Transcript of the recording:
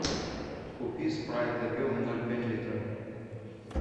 купи спрайт объемом ноль пять литра